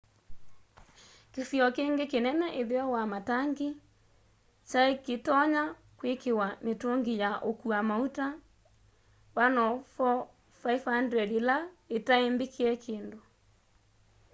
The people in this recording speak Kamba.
kĩsio kĩngĩ kĩnene ĩtheo wa matangi kyaĩkĩtonya kwĩkĩwa mĩtũngĩ ya ũkũa maũta 104,500 ĩla itaĩ mbĩkĩe kĩndũ